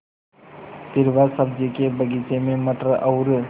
फिर वह सब्ज़ी के बगीचे में मटर और